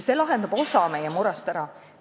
See lahendab osa meie murest ära.